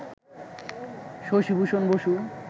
Shashibhushan Basu